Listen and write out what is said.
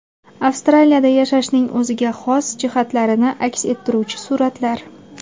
Avstraliyada yashashning o‘ziga xos jihatlarini aks ettiruvchi suratlar.